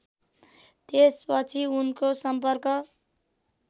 त्यसपछि उनको सम्पर्क